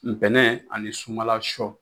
Nbɛnɛn ani sunbala sɔ